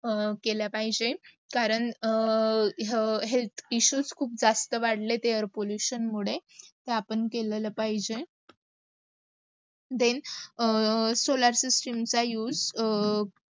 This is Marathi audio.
केला पाहिजे. करण health issues खूप जास्त वाडयात air pollution मुडे तर् आपण केलेलं पाहिजे. then solar system चा उर्ग्